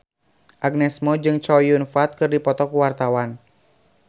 Agnes Mo jeung Chow Yun Fat keur dipoto ku wartawan